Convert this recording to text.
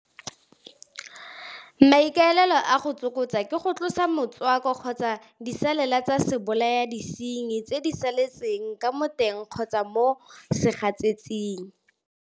Maikaelelo a go tsokotsa ke go tlosa motswako kgotsa disalela tsa sebolayadisenyi tse di saletseng ka mo teng kgotsa mo segasetseng.